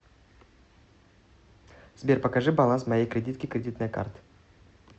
сбер покажи баланс моей кредитки кредитной карты